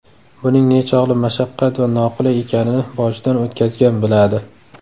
Buning nechog‘li mashaqqat va noqulay ekanini boshidan o‘tkazgan biladi.